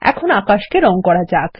এখন আকাশকে রঙ করা যাক